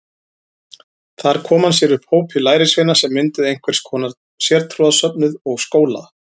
Þar kom hann sér upp hópi lærisveina sem mynduðu einhvers konar sértrúarsöfnuð og skóla.